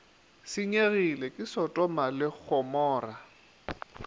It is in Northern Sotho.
senyegile ke sotoma le gomora